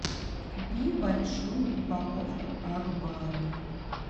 купи большую упаковку акбара